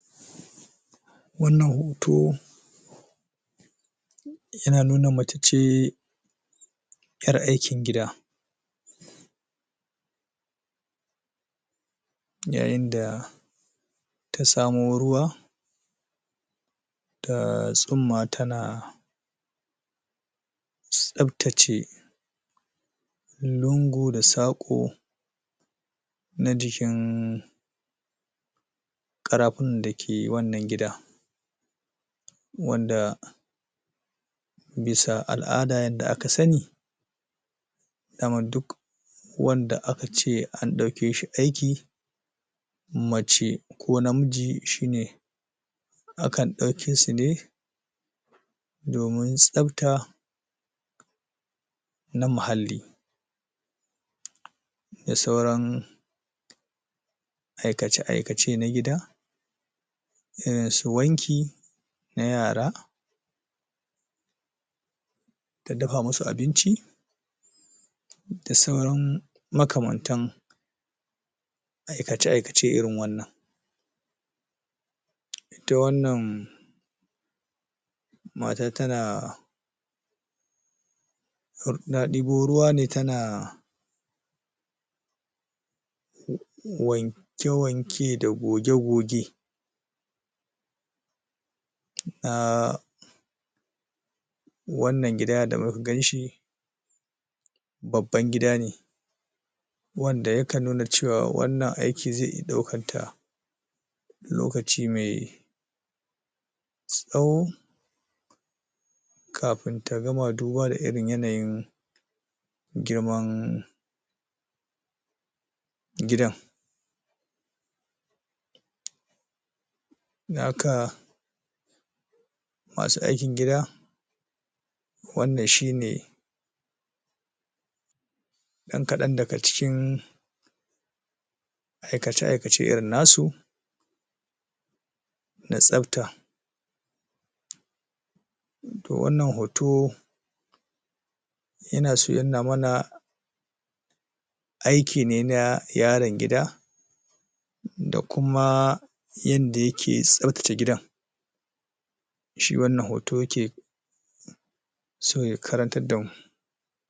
wannan hoto yana nuna mace ce ƴar aikin gida yayinda ta samo ruwa da tsimma tana tsaftace lungu da saƙo na jikin ƙarafina dake wannan gida wanda bisa al'ada yanda aka sani daman duk wanda akace an daukeshi aiki mace ko namiji kan daukesu ne domin tsafta na mahalli da sauran aikace aikace na gida irinsu wanki na yara ta dafa masu abinci da sauran makamantan aikace aikace irin wannan ita wannan matan tana uhm na ɗibo ruwane tana wanke-wanke da goge-goge uhm wannan gida da muka ganshi babban gida ne wanda yaka nuna cewa wannan aiki zai iya daukan ta lokace mai tsawo kafin ta gama duba da irin yanayin girman gidan dan haka masu aikin gida wannan shine dan kadan daga cikin aikac aikace irin nasu na tsafta to wannan hoto yanaso yanuna mana aikine na yaro gida da kuma yanda yake tsaftace gidan shi wannan hoto yake so ya karantadamu